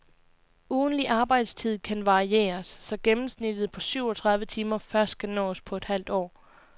Ugentlig arbejdstid kan varieres, så gennemsnittet på syvogtredive timer først skal nås på et halvt år.